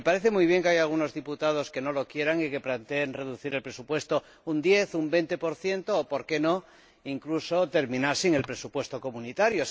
Me parece muy bien que haya algunos diputados que no lo quieran y que planteen reducir el presupuesto un 10 o un 20 o, por qué no, incluso terminar sin el presupuesto comunitario.